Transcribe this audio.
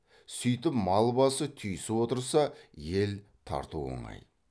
сүйтіп мал басы түйісіп отырса ел тарту оңай